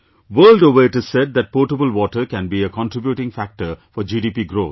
World over it is said that potable water can contributing factor for GDP growth